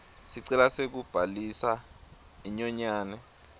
sicelo sekubhalisa inyonyane